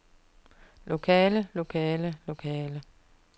lokale lokale lokale